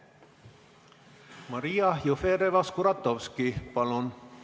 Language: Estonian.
Maria Jufereva-Skuratovski, palun!